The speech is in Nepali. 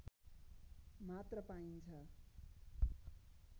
मात्र पाइन्छ